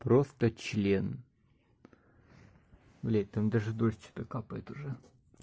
просто член блять там даже дождь что-то капает уже